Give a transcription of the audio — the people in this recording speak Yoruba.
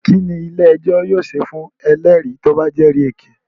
Kínní ilé ẹjọ́ yóò ṣe fún ẹlẹ́rìí tí o bá jẹ́rì èké?